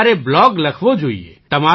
તો તમારે બ્લૉગ લખવો જોઈએ